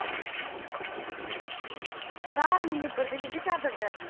ਰਾਤ ਨੂੰ ਨਿਬਰ ਦੀ ਬੀਬੀ ਚਾਦਰ।